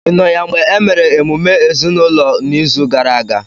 ị nọ ya mgbe e mere emume ezinụlọ n'izu gara aga?